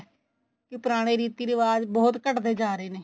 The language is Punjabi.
ਕੀ ਪੁਰਾਣੇ ਰੀਤੀ ਰਿਵਾਜ ਬਹੁਤ ਘਟਦੇ ਜਾ ਰਹੇ ਨੇ